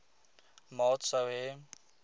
maat sou hê